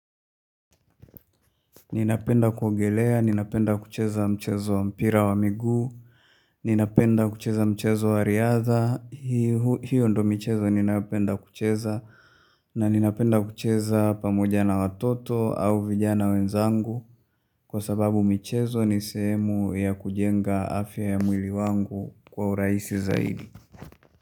Ninapenda kuongelea, ninapenda kucheza mchezo mpira wa miguu, ninapenda kucheza mchezo wa riadha, hiyo ndo mchezo ninayopenda kucheza na ninapenda kucheza pamoja na watoto au vijana wenzangu kwa sababu mchezo nisehemu ya kujenga afya ya mwili wangu kwa uraisi zaidi.